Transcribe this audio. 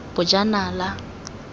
bojanala